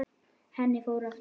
Henni fór aftur.